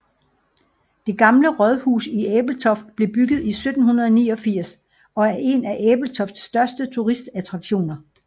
Det Gamle Rådhus i Ebeltoft blev bygget i 1789 og er en af Ebeltofts største turistattraktioner